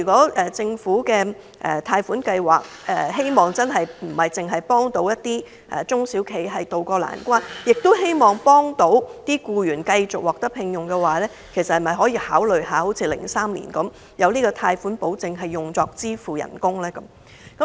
因此，政府提供貸款擔保若並非只旨在協助中小企渡過難關，而是同時希望僱員能夠保住工作，政府可否考慮像2003年般提供專門用於支付員工薪酬的貸款保證？